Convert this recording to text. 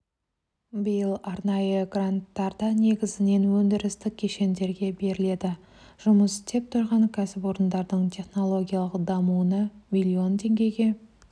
биыл арнайы гранттар да негізінен өндірістік кешендерге беріледі жұмыс істеп тұрған кәсіпорындардың технологиялық дамуына миллион теңгеге